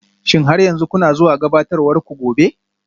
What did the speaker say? Shin har yanzu kuna zuwa gabatarwar ku gobe?